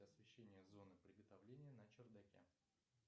освещение зоны приготовления на чердаке